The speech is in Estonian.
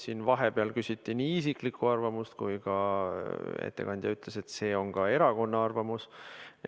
Siin vahepeal küsiti nii isiklikku arvamust kui ettekandja ka ütles, et see on ka erakonna arvamus.